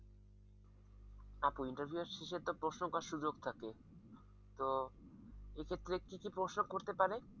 আপু interview এর শেষে তো প্রশ্ন করার সুযোগ থাকে তো এক্ষেত্রে কি কি প্রশ্ন করতে পারে?